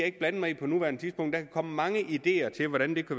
ikke blande mig i på nuværende tidspunkt der komme mange ideer til hvordan det